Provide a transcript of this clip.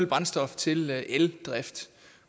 brændstof til eldrift